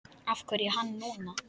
Af hverju hann núna?